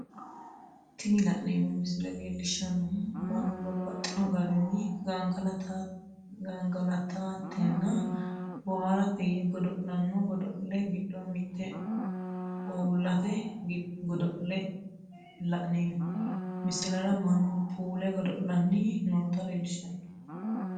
Tini la'neemo misile leellishanohu mannu babaxxino garinni gangalatatenna booharate yee godo'lano gado'le gido mite ouullete godo'leeti la'neemo misilera manu puule godo'lani nootta leellishano